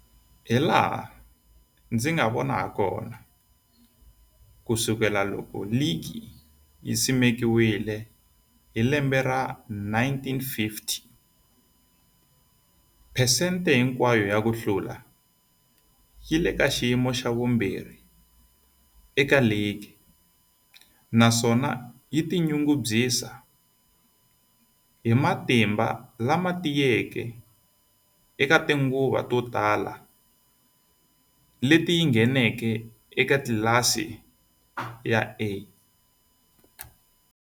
Hilaha ndzi nga vona hakona, ku sukela loko ligi yi simekiwile 1950, phesente hinkwayo ya ku hlula yi le ka xiyimo xa vumbirhi eka ligi, naswona yi tinyungubyisa hi matimba lama tiyeke eka tinguva to tala leti yi ngheneke eka tlilasi ya A.